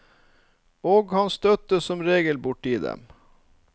Og han støtte som regel borti dem.